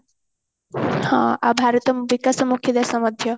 ହଁ ଆଉ ଭାରତ ବିକାଶ ମୁଖୀ ଦେଶ ମଧ୍ୟ